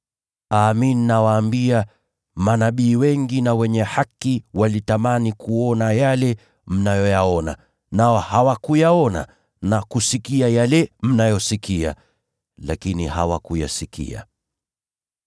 Amin, nawaambia, manabii wengi na wenye haki walitamani kuona yale mnayoyaona lakini hawakuyaona, na walitamani kusikia yale mnayoyasikia lakini hawakuyasikia.